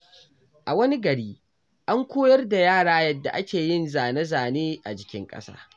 A wani gari, an koyar da yara yadda ake yin zane-zane a jikin ƙasa.